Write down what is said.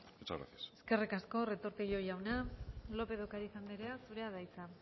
muchas gracias eskerrik asko retortillo jauna lópez de ocariz andrea zurea da hitza